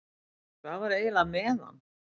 Hvað var eiginlega með hann?